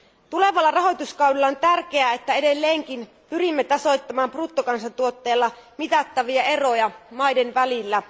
Tulevalla rahoituskaudella on tärkeää, että edelleenkin pyrimme tasoittamaan bruttokansantuotteella mitattavia eroja maiden välillä.